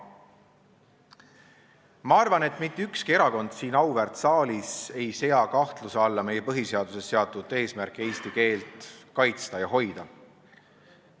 Ma arvan, et mitte ükski erakond siin auväärt saalis ei sea kahtluse alla põhiseaduses seatud eesmärki eesti keelt kaitsta ja hoida.